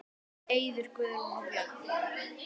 Eiður, Guðrún og börn.